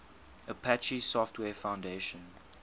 apache software foundation